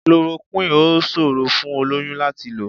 Chloroquine ò ṣòrò fún olóyún láti lò.